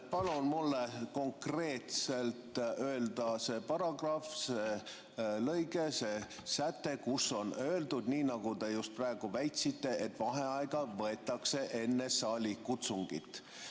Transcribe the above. Palun mulle konkreetselt öelda see paragrahv, see lõige, see säte, kus on öeldud nii, nagu te just praegu väitsite, et vaheaega võetakse enne saalikutsungit.